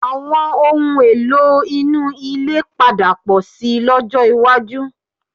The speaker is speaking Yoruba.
Àwọn ohun-èlò inú ilé lè padà pọ̀ síi lọ́jọ́ iwájú